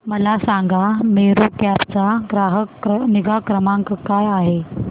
मला सांगा मेरू कॅब चा ग्राहक निगा क्रमांक काय आहे